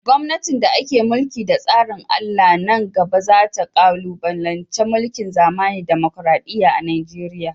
gomnatin da ake mulki da tsarin Allah nan gaba za ta kalubalanci mulkin zamani da dimokuradiyya a Najeriya.